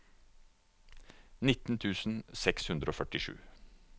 nitten tusen seks hundre og førtisju